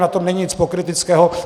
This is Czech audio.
Na tom není nic pokryteckého.